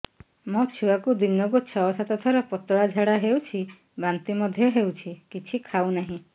ମୋ ଛୁଆକୁ ଦିନକୁ ଛ ସାତ ଥର ପତଳା ଝାଡ଼ା ହେଉଛି ବାନ୍ତି ମଧ୍ୟ ହେଉଛି କିଛି ଖାଉ ନାହିଁ